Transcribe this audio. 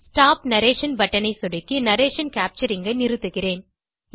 stop narration button ஐ சொடுக்கி narration capturing ஐ நிறுத்துகிறேன்